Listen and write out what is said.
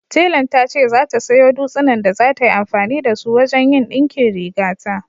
Telan ta ce za ta sayo dutsinan da za ta yi amfani da su wajen yin ɗinkin rigata